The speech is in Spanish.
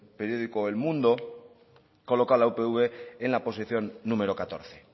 periódico el mundo coloca a la upv en la posición número catorce